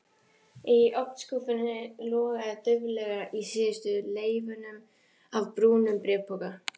Í ofnskúffunni logaði dauflega í síðustu leifunum af brúnum bréfpoka.